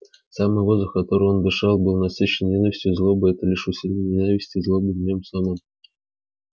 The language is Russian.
самый воздух которым он дышал был насыщен ненавистью и злобой и это лишь усиливало ненависть и злобу в нём самом